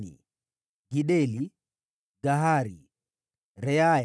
wazao wa Gideli, Gahari, Reaya,